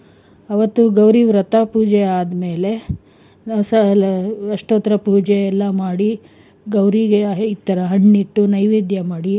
ಅವತ್ತು ಗೌರಿ ವ್ರತ ಪೂಜೆ ಆದ್ಮೇಲೆ, ಅಷ್ಟೋತ್ತರ ಪೂಜೆ ಎಲ್ಲ ಮಾಡಿ ಗೌರಿಗೆ ಈ ತರಹ ಹಣ್ಣಿಟ್ಟು ನೈವೇದ್ಯ ಮಾಡಿ,